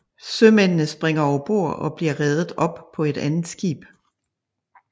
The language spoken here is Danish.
Sømændene springer overbord og bliver reddet op på et andet skib